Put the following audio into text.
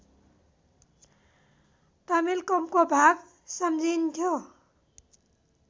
तमिलकमको भाग सम्झिइन्थ्यो